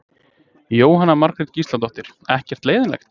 Jóhanna Margrét Gísladóttir: Ekkert leiðinlegt?